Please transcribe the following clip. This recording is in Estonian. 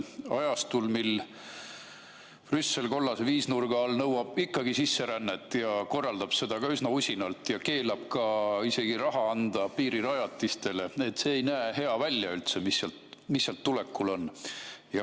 Ajastul, mil Brüssel kollase viisnurga all nõuab ikkagi sisserännet ja korraldab seda üsna usinalt ja keelab isegi raha anda piirirajatistele, ei näe üldse hea välja, mis sealt tulekul on.